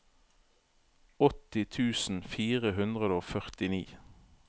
åtti tusen fire hundre og førtini